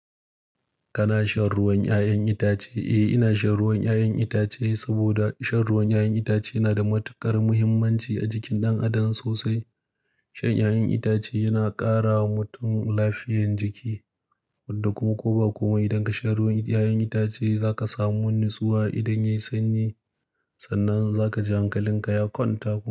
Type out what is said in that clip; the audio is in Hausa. Kana shan ruwan 'ya'yan itace? Eh, ina shan ruwan 'ya'yan itace saboda shan ruwan 'ya'yan itace yana da matuƙar muhimmanci a jikin ɗan adam sosai. Shan 'ya'yan itace yana ƙara wa mutum lafiyan jiki wadda kuma ko ba kuma idan ka shan ruwan 'ya'yan itace za ka samu nutsuwa idan yayi sanyi. Sannan za ka ji hankalinka ya kwanta kuma.